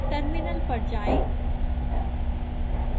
terminal पर जाएं